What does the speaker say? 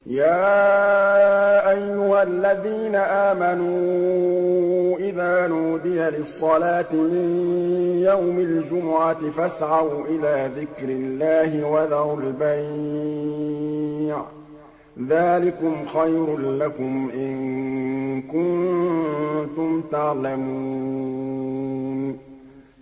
يَا أَيُّهَا الَّذِينَ آمَنُوا إِذَا نُودِيَ لِلصَّلَاةِ مِن يَوْمِ الْجُمُعَةِ فَاسْعَوْا إِلَىٰ ذِكْرِ اللَّهِ وَذَرُوا الْبَيْعَ ۚ ذَٰلِكُمْ خَيْرٌ لَّكُمْ إِن كُنتُمْ تَعْلَمُونَ